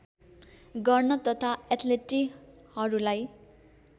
गर्न तथा एथलिटहरूलाई